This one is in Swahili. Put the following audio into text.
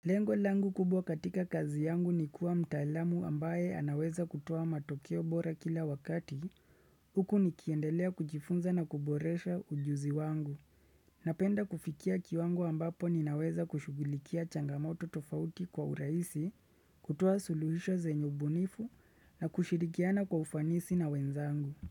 Lengo langu kubwa katika kazi yangu ni kuwa mtaalamu ambaye anaweza kutoa matokeo bora kila wakati, huku nikiendelea kujifunza na kuboresha ujuzi wangu. Napenda kufikia kiwangu ambapo ninaweza kushughulikia changamoto tofauti kwa urahisi, kutoa suluhisho zenye ubunifu na kushirikiana kwa ufanisi na wenzangu.